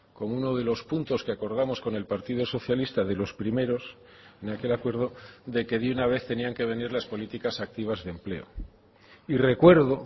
como uno de los puntos que acordamos con el partido socialista de los primeros en aquel acuerdo de que de una vez tenían que venir las políticas activas de empleo y recuerdo